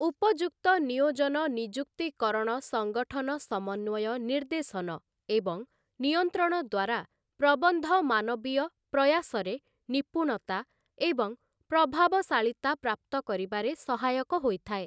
ଉପଯୁକ୍ତ ନିୟୋଜନ ନିଯୁକ୍ତିକରଣ ସଂଗଠନ ସମନ୍ଵୟ ନିର୍ଦ୍ଦେଶନ, ଏବଂ ନିୟନ୍ତ୍ରଣଦ୍ଵାରା ପ୍ରବନ୍ଧ ମାନବୀୟ ପ୍ରୟାସରେ ନିପୂଣତା ଏବଂ ପ୍ରଭାବଶାଳୀତା ପ୍ରାପ୍ତ କରିବାରେ ସହାୟକ ହୋଇଥାଏ ।